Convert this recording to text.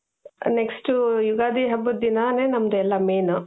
next Ugadi ಹಬ್ಬದ ದಿನಾನೇ ನಮ್ದ್ ಎಲ್ಲಾ main